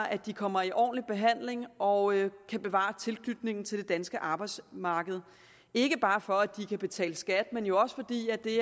at de kommer i ordentlig behandling og kan bevare tilknytningen til det danske arbejdsmarked ikke bare for at de kan betale skat men jo også fordi det